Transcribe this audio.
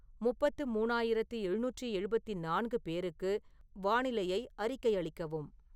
முப்பத்து மூணாயிரத்து எழுநூற்று எழுபத்து நான்கு பேருக்கு வானிலையை அறிக்கையளிக்கவும்